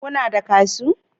Kuna da kashu